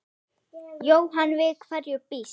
Jóhann: Við hverju býstu?